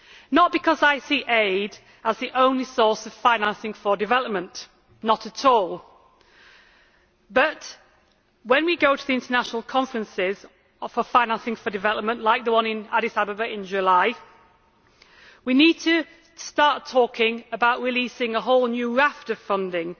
Not because I see aid as the only source of financing for development not at all but, when we go to the international conferences for financing for development, like the one in Addis Ababa in July, we need to start talking about releasing a whole new raft of funding